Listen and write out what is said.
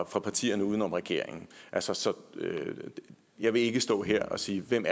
fra partierne uden om regeringen så så jeg vil ikke stå her og sige hvem